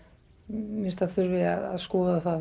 mér finnst að það þurfi að skoða það